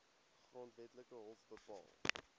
grondwetlike hof bepaal